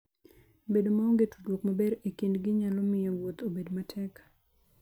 Bedo maonge tudruok maber e kindgi nyalo miyo wuoth obed matek.